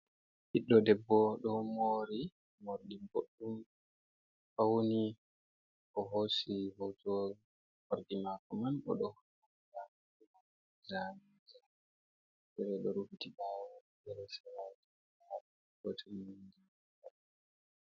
Ɓiɗdo debbo ɗo mori morɗi boɗɗum fauni. O hosi foto morɗi mako man odo holla jamije irin ɗo rufiti bawo be seraji bote minji.